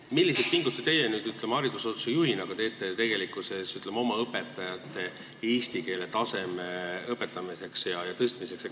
Milliseid pingutusi teie haridusasutuse juhina teete oma õpetajate eesti keele taseme tõstmiseks?